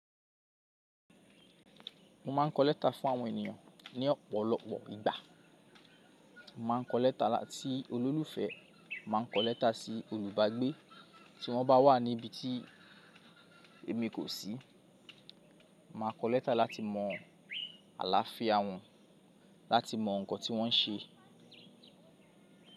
Mo ma ń kọ létà fún àwọn ènìyàn ní ọ̀pọ̀lọpọ̀ ìgbà. Mo máa ń kọ létà lati, si olólùfẹ́, mo màá n kọ létà sí olùbàgbé tí wọ́n bá wà níbi tí èmi kò sí. Màá kọ létà láti mọ aláfíà wọ́n, láti mọ nǹkan tí wọ́n ń ṣe.